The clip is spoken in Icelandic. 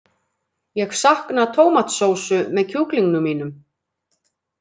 Ég sakna tómatsósu með kjúklingnum mínum.